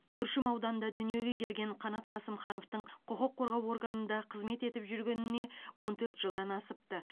күршім ауданында дүниеге келген қанат қасымхановтың құқық қорғау органында қызмет етіп жүргеніне он төрт жылдан асыпты